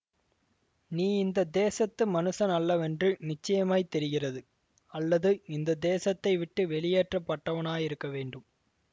நீ இந்த தேசத்து மனுஷன் அல்லவென்று நிச்சயமாய் தெரிகிறது அல்லது இந்த தேசத்தைவிட்டு வெளியேற்றப் பட்டவனாயிருக்க வேண்டும்